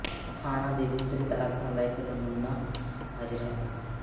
ਅਖਾਣਾਂ ਦੇ ਵਿਸਤ੍ਰਿਤ ਅਰਥਾਂ ਦਾ ਇੱਕ ਨਮੂੰਨਾ ਹਾਜ਼ਰ ਹੈ